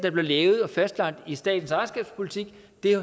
er blevet lavet og fastlagt i statens ejerskabspolitik